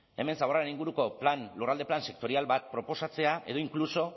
hemen zaborraren inguruko lurralde plan sektorial bat proposatzea edo inkluso